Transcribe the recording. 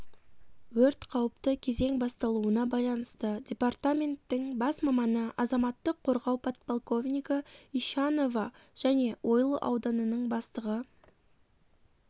өрт қауіпті кезең басталуына байланысты департаменттің бас маманы азаматтық қорғау подполковнигі ищанова және ойыл ауданының бастығы